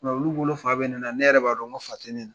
Nka olu bolo fa bɛ ne na, ne yɛrɛ bolo fa tɛ ne na!